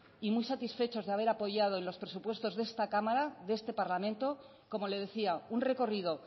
y muy satisfechos de haber apoyado los presupuestos de esta cámara de este parlamento como le decía un recorrido